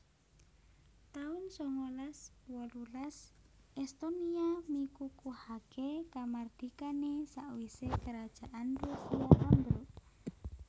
taun sangalas wolulas Estonia mikukuhaké kamardikané sawisé Kerajaan Rusia ambruk